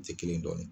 Ti kelen dɔn